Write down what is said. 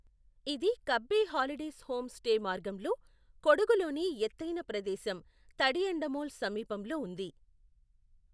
ఇది Kabbe holidays home stay మార్గంలో, కొడగులోని ఎత్తైన ప్రదేశం తడియండమోల్ సమీపంలో ఉంది.